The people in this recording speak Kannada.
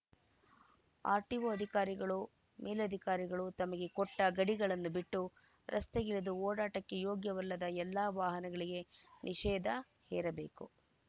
ಆರ್‌ಟಿಓ ಅಧಿಕಾರಿಗಳು ಮೇಲಾಧಿಕಾರಿಗಳು ತಮಗೆ ಕೊಟ್ಟಗಡಿಗಳನ್ನು ಬಿಟ್ಟು ರಸ್ತೆಗಿಳಿದು ಓಡಾಟಕ್ಕೆ ಯೋಗ್ಯವಲ್ಲದ ಎಲ್ಲಾ ವಾಹನಗಳಿಗೆ ನಿಷೇಧ ಹೇರಬೇಕು